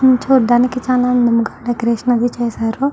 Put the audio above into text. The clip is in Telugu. ఇది చుడానికి చాల అందముగా డెకొరేషన్ అది చేసారు.